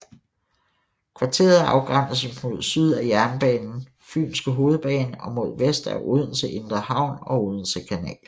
Kvarteret afgrænses mod syd af jernbanen Fynske hovedbane og mod vest af Odense Indre Havn og Odense Kanal